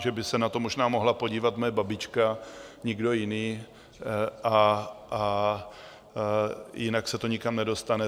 že by se na to možná mohla podívat moje babička, nikdo jiný, a jinak se to nikam nedostane.